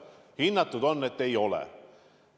Hinnatud on, et ei ole.